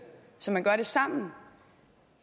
så man gør det sammen